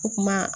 O kuma